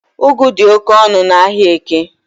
Ugwu di oke onu n’Ahiaeke